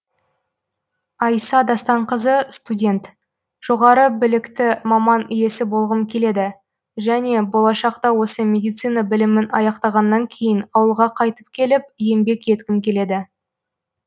айса дастанқызы студент жоғары біліқты маман иесі болғым келеді және болашақта осы медицина білімін аяқтағаннан кейін ауылға қайтып келіп еңбек еткім келеді